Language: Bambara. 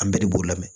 An bɛɛ de b'o lamɛn